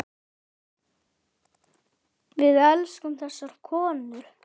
Við elskum þessar konur.